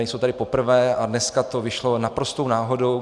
Nejsou tady poprvé a dneska to vyšlo naprostou náhodou.